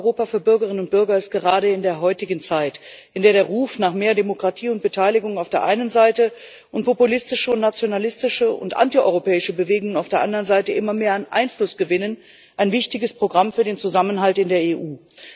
Das Programm Europa für Bürgerinnen und Bürger ist gerade in der heutigen Zeit, in der der Ruf nach mehr Demokratie und Beteiligung auf der einen Seite und populistische, nationalistische und antieuropäische Bewegungen auf der anderen Seite immer mehr an Einfluss gewinnen, ein wichtiges Programm für den Zusammenhalt in der EU.